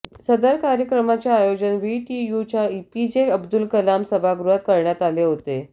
सदर कार्यक्रमाचे आयोजन व्हीटीयूच्या एपीजे अब्दूल कलाम सभागृहात करण्यात आले होते